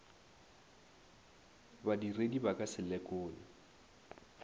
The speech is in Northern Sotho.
badiredi ba ka se lekole